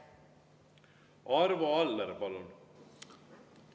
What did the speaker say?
Arvo Aller, palun!